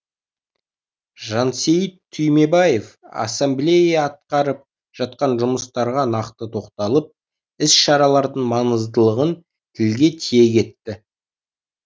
жансейіт түймебаев ассамблея атқарып жатқан жұмыстарға нақты тоқталып іс шаралардың маңыздылығын тілге тиек етті